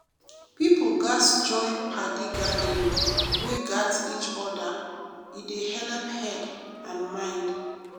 people gatz join padi gathering wey gat each other e dey helep head and mind.